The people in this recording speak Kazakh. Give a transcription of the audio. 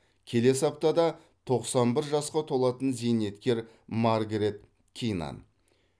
келесі аптада тоқсан бір жасқа толатын зейнеткер маргарет кинан